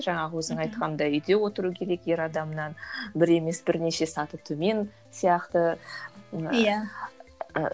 жаңағы өзің айтқандай үйде отыру керек ер адамнан бір емес бірнеше саты төмен сияқты ы иә ыыы